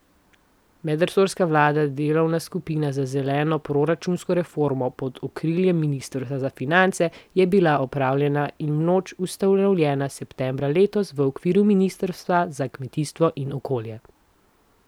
Medresorska vladna delovna skupina za zeleno proračunsko reformo pod okriljem ministrstva za finance je bila odpravljena in vnovič ustanovljena septembra letos v okviru ministrstva za kmetijstvo in okolje.